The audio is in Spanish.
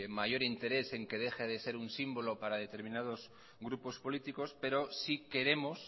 mayor interés en que deje de ser un símbolo para determinados grupo políticos pero sí queremos